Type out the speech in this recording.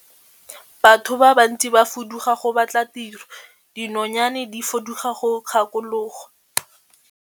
Batho ba bantsi ba fuduga go batla tiro, dinonyane di fuduga ka dikgakologo.